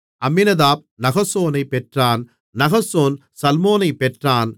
அம்மினதாப் நகசோனைப் பெற்றான் நகசோன் சல்மோனைப் பெற்றான்